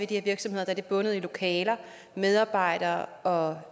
de her virksomheder er de bundet i lokaler medarbejdere og